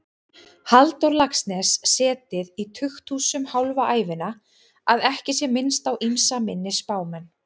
Halldór Laxness setið í tukthúsum hálfa ævina, að ekki sé minnst á ýmsa minni spámenn.